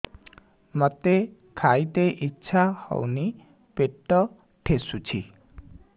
ମୋତେ ଖାଇତେ ଇଚ୍ଛା ହଉନି ପେଟ ଠେସୁଛି